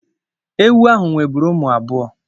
Ewu ahụ nweburu ụmụ abụọ.